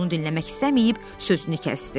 Onu dinləmək istəməyib, sözünü kəsdi.